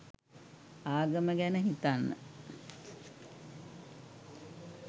ආගම ගැන හිතන්න